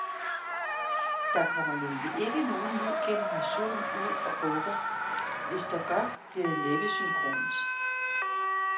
Der kommer nemlig ikke nogen ny generation ud og bukker, og hvis der gør, bliver det næppe synkront.